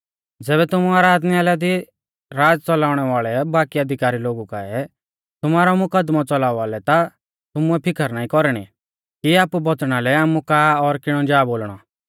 ज़ैबै तुमु आराधनालय दी राज़ च़लाऊणै वाल़ै बाकी अधिकारी लोगु काऐ तुमारौ मुकदमौ च़लावा लै ता तुमुऐ फिकर नाईं कौरणी कि आपु बौच़णा लै आमु का और किणौ जा बोलणौ